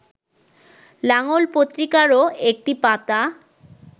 লাঙল পত্রিকারও একটি পাতা